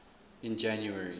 in january